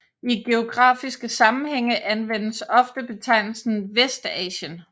I geografiske sammenhænge anvendes ofte betegnelsen Vestasien